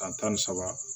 San tan ni saba